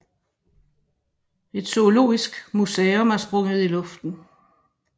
Et zoologisk museum er blevet sprunget i luften